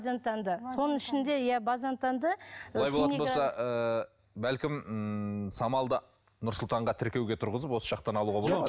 соның ішінде иә базентанды олай болатын болса ыыы бәлкім ммм самал да нұр сұлтанға тіркеуге тұрғызып осы жақтан алуға